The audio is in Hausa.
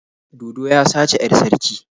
Dodo ya sace 'yar sarki.